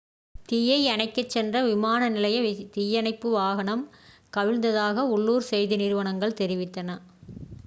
தீயை அணைக்கச் சென்ற விமான நிலைய தீயணைப்பு வாகனம் கவிழ்ந்ததாக உள்ளூர் செய்தி நிறுவனங்கள் தெரிவித்தன